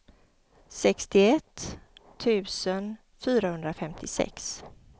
sextioett tusen fyrahundrafemtiosex